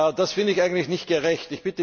Das finde ich eigentlich nicht gerecht.